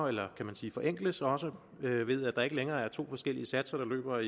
eller kan man sige forenkles så også ved at der ikke længere er to forskellige satser der løber